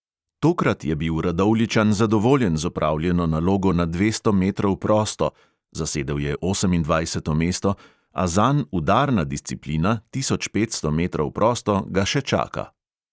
Tokrat je bil radovljičan zadovoljen z opravljeno nalogo na dvesto metrov prosto (zasedel je osemindvajseto mesto), a zanj udarna disciplina, tisoč petsto metrov prosto, ga še čaka.